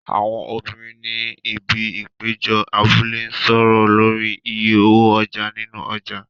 Àwọn obìnrin ni ibi ìpéjọ abúlé ń sọ̀rọ̀ lórí iye owó ọjà nínú ọjà.